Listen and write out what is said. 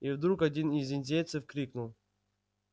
и вдруг один из индейцев крикнул